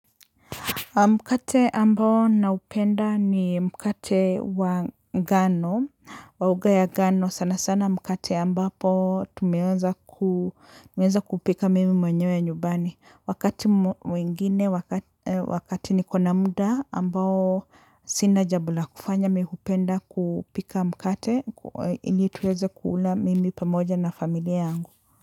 Mkate ambao naupenda ni mkate wa ngano, wa unga ya ngano sana sana mkate ambapo tumeweza kupika mimi mwenyewe ya nyumbani. Wakati mwingine, wakati nikona muda ambao sina jambo la kufanya, mi hupenda kupika mkate ili tuweze kuula mimi pamoja na familia yangu.